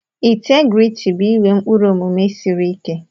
Integriti bụ inwe ụkpụrụ omume siri ike.